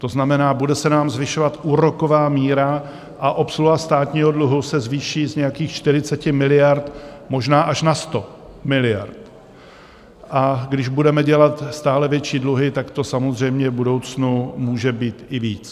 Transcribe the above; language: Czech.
To znamená, bude se nám zvyšovat úroková míra a obsluha státního dluhu se zvýší z nějakých 40 miliard možná až na 100 miliard, a když budeme dělat stále větší dluhy, tak to samozřejmě v budoucnu může být i víc.